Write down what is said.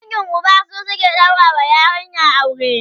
dangin Uba su suke ɗaura wa yarinya aure